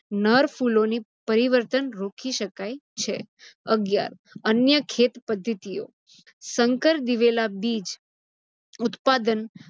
નર ફુલોની પરીવતૅન રોકી શકાય છે. અગીયાર અન્ય ખેત પદ્ધતિઓ - સંકર દિવેલા બીજ ઉત્પાદન